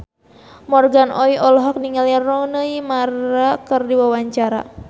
Morgan Oey olohok ningali Rooney Mara keur diwawancara